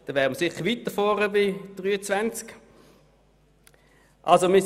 Da wären wir sicher weiter vorne platziert als auf Platz 23.